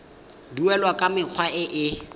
duelwa ka mekgwa e e